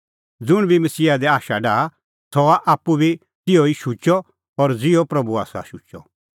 ज़ुंण बी मसीहा दी आशा डाहा सह हआ आप्पू बी तिहअ शुचअ ज़िहअ प्रभू आसा शुचअ